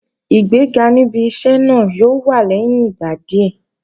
Ìgbéga níbi iṣẹ́ náà yóò wá lẹ́yìn ìgbà díẹ̀